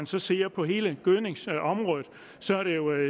så ser på hele gødningsområdet